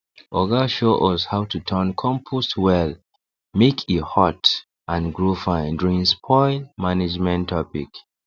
oga show us how to turn compost well make e hot and grow fine during spoil management topic